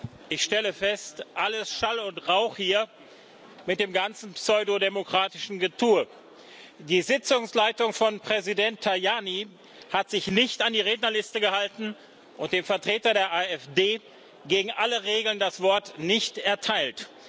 Herr Präsident! Ich stelle fest Alles Schall und Rauch hier mit dem ganzen pseudodemokratischen Getue. Die Sitzungsleitung von Präsident Tajani hat sich nicht an die Rednerliste gehalten und dem Vertreter der AfD gegen alle Regeln das Wort nicht erteilt.